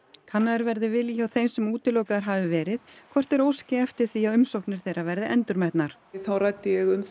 kannaður verði vilji hjá þeim sem útilokaðir hafi verið frá hvort þeir óski eftir því að umsóknir þeirra verði endurmetnar þá ræddi ég um